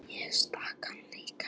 Ég stakk hann líka.